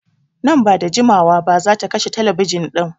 Nan ba da jimawa ba zata kashe telebijin ɗin.